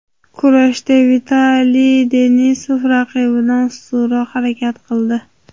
Kurashda Vitaliy Denisov raqibidan ustunroq harakat qildi.